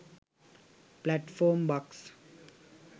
platform bux